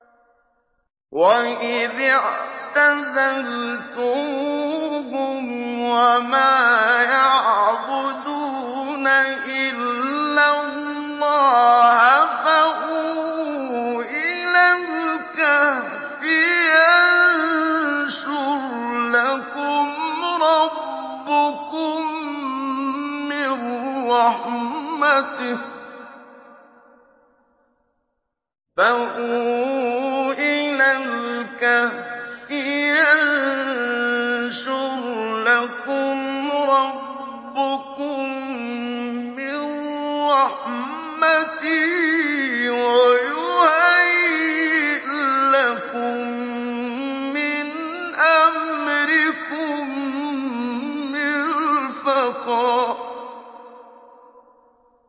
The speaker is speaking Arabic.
وَإِذِ اعْتَزَلْتُمُوهُمْ وَمَا يَعْبُدُونَ إِلَّا اللَّهَ فَأْوُوا إِلَى الْكَهْفِ يَنشُرْ لَكُمْ رَبُّكُم مِّن رَّحْمَتِهِ وَيُهَيِّئْ لَكُم مِّنْ أَمْرِكُم مِّرْفَقًا